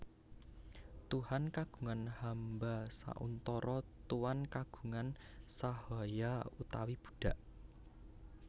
Tuhan kagungan hamba sauntara Tuan kagungan sahaya utawi budak